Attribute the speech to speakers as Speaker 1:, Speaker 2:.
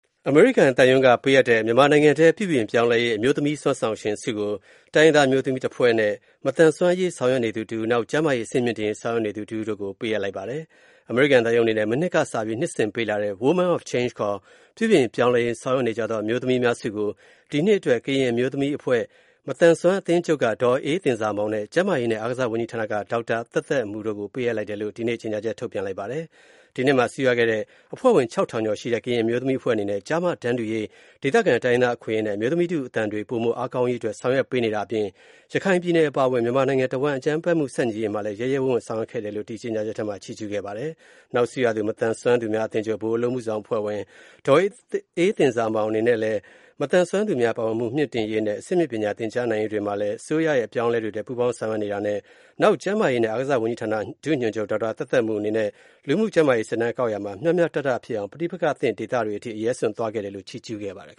Speaker 1: အမေရိကန်သံရုံးက ပေးအပ်တဲ့ မြန်မာနိုင်ငံထဲ ပြုပြင်ပြောင်းလဲရေး အမျိုးသမီး စွမ်းဆောင်ရှင်ဆုကိုတိုင်းရင်းသား အမျိုးသမီးတစ်ဖွဲ့နဲ့ မသန်စွမ်း အရေးဆောင် ရွက်နေသူတစ်ဦး၊ နောက် ကျန်းမာရေးအဆင့်မြင့်တင်ရေး ဆောင်ရွက်နေသူ တစ်ဦး တို့ကို ပေးအပ်လိုက်ပါတယ်။ အမေရိကန်သံရုံးအနေနဲ့ မနှစ်ကစပြီး နှစ်စဉ်ပေးအပ်လာတဲ့ Women of Change ခေါ် ပြုပြင်ပြောင်းလဲရေးဆောင်ရွက်နေကြသောအမျိုးသမီးများဆုကို ဒီနှစ်အတွက် ကရင်အမျိုးသမီးအဖွဲ့၊ မသန်စွမ်းအသင်းချုပ်က ဒေါ်အေးသဉ္ဇာမောင်နဲ့၊ ကျန်မာရေးနဲ့အားကစားဝန်ကြီးဌာနက ဒေါက်တာ သက်သက်မူတို့ကို ပေးအပ် လိုက်တယ်လို့ ဒီနေ့ ကြေညာချက်ထုတ်ပြန်လိုက်ပါတယ်။ ဒီနှစ်မှာ ဆုရခဲ့တဲ့ အဖွဲ့ဝင် ၆၀၀၀ ကျော်ရှိတဲ့ ကရင်အမျိုးသမီးအဖွဲ့အနေနဲ့ကျား၊မ တန်တူညီမျှရေး၊ ဒေသခံတိုင်းရင်းသာအခွင့်အရေးနဲ့ အမျိုးသမီးထုအသံတွေ ပိုမိုအားကောင်းရေးတွေ ဆောင်ရွက်ပေးနေတာအပြင်၊ရခိုင်ပြည်နယ်အပါအဝင် မြန်မာနိုင်ငံတဝှမ်းအကြမ်းဖက်မှုဆန့်ကျင်ရေး ရဲရဲဝံ့ဝံ့ဆောင်ရွက်ခဲ့တယ် လို့ဒီကြေညာချက်ထဲမှာ ချီးကြူးခဲ့ပါတယ်။ နောက် ဆုရသူ မသန်စွမ်းသူများအသင်းချုပ် ဗဟိုအလုပ်အမှုဆောင်အဖွဲ့ဝင် ဒေါ်အေးသဉ္ဇာမောင်အနေနဲ့လည်း မသန်းစွမ်းသူများ ပါဝင်မှုမြင့်တင်ရေးနဲ့ အဆင့်မြင့်ပညာသင်ကြားနိုင်ရေးတွေမှာလဲ အစိုးရရဲ့ အပြောင်းအလဲတွေအတွက် ပူးပေါင်းဆောင်ရွက်နေတာနဲ့၊နောက် ကျန်းမာရေးနဲ့အားကစားဝန်ကြီးဌာနက ဒုညွှန်ချုပ် ဒေါက်တာ သက်သက်မူ အနေနဲ့လူမူ၊ကျန်းမာရေး စစ်တမ်းကောက် ရာမှာမျှမျှတတဖြစ်အောင် ပဋိပက္ခသင့် ဒေသတွေကို အရဲစွန့်
Speaker 2: သွားရောက်ခဲ့တယ်လို့ ချီးကြူးခဲ့ပါတယ်